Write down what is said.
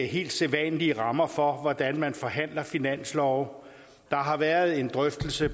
helt sædvanlige rammer for hvordan man forhandler finanslove der har været en drøftelse